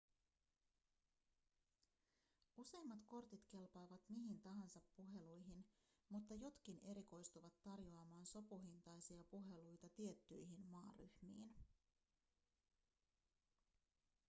useimmat kortit kelpaavat mihin tahansa puheluihin mutta jotkin erikoistuvat tarjoamaan sopuhintaisia ‎puheluita tiettyihin maaryhmiin.‎